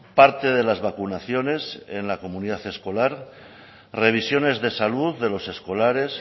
parte de las vacunaciones en la comunidad escolar revisiones de salud de los escolares